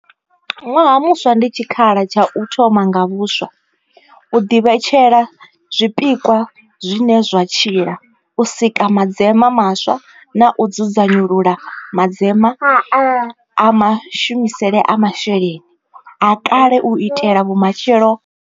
Ṅwaha muswa ndi tshikhala tsha u thoma nga vhuswa, u ḓivhetshela zwipikwa zwine zwa tshila, u sika madzema maswa na u dzudzanyulula madzema a mashumisele a mashelelni a kale u itela vhumatshelo.